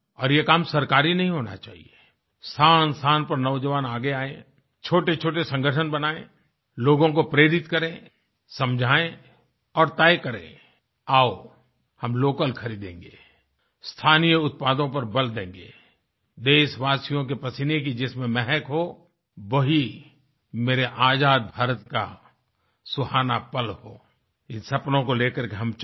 और ये काम सरकारी नहीं होना चाहिए स्थानस्थान पर नौजवान आगे आएं छोटेछोटे संगठन बनायें लोगों को प्रेरित करें समझाएं और तय करें आओ हम लोकल खरीदेंगे स्थानीय उत्पादों पर बल देंगे देशवासियों के पसीने की जिसमें महक हो वही मेरे आज़ाद भारत का सुहाना पल हो इन सपनों को लेकर के हम चलें